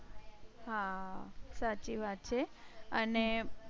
હા સાચી વાત છે અને